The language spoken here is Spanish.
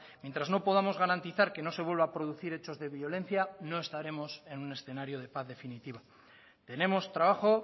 mientras no podamos garantizar que no se vuelva a producir hechos de violencia no estaremos en un escenario de paz definitiva tenemos trabajo